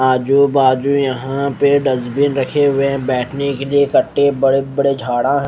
आजू बाजू यहां पे डस्टबिन रखे हुए बैठने के लिए कटै बड़े बड़े झाड़ा हैं।